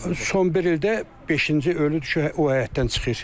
Son bir ildə beşinci ölüdü ki, o həyətdən çıxır.